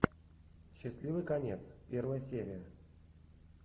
счастливый конец первая серия